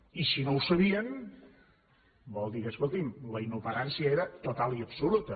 i si no ho sabien vol dir que escolti’m la inoperància era total i absoluta